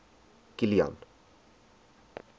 kilian